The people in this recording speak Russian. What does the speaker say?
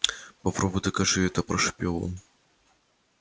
попробуй докажи это прошипел он